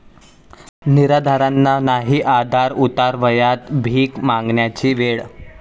निराधारांना नाही आधार, उतारवयात भीक मागण्याची वेळ!